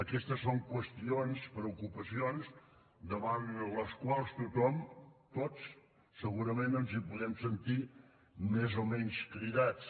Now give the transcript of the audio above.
aquestes són qüestions preocupacions davant les quals tothom tots segurament ens podem sentir més o menys cridats